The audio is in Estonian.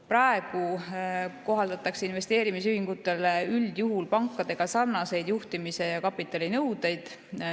Praegu kohaldatakse investeerimisühingutele üldjuhul pankade nõuetega sarnaseid juhtimis‑ ja kapitalinõudeid.